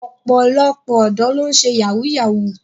Ọ̀pọ̀lọpọ̀ ọ̀dọ́ ló ń ṣe yahoo yahoo.